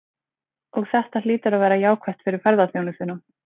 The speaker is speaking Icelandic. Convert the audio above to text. Og þetta hlýtur að vera jákvætt fyrir ferðaþjónustuna?